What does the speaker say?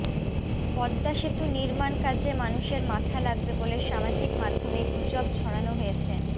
পদ্মা সেতু নির্মাণ কাজে মানুষের মাথা লাগবে বলে সামাজিক মাধ্যমে গুজব ছড়ানো হয়েছে